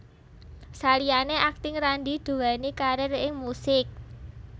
Saliyané akting Randy duwéni karir ing musik